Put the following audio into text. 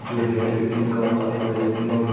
जो hair cutting का काफी बेहतरीन और --